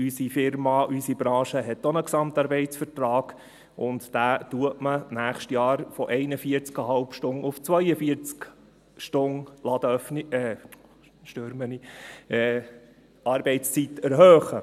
Unsere Unternehmung, unsere Branche hat auch einen GAV, und in diesem wird man nächstes Jahr die Arbeitszeit von 41,5 Stunden auf 42 Stunden erhöhen.